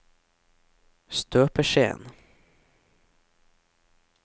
støpeskjeen